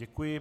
Děkuji.